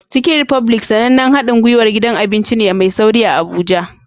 Chicken republic, sanannen haɗin gwiwar gidan abinci ne mai sauri a Abuja